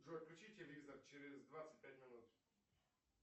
джой включи телевизор через двадцать пять минут